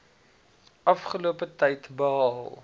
afgelope tyd behaal